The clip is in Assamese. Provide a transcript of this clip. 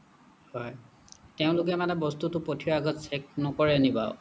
হয় তেওঁলোকে মানে বস্তুটো পঠিওৱাৰ আগত check নকৰে নি বাৰু